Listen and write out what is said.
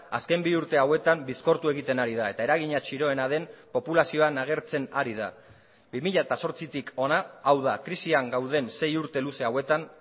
azken bi urte hauetan bizkortu egiten ari da eta eragina txiroena den populazioan agertzen ari da bi mila zortzitik hona hau da krisian gauden sei urte luze hauetan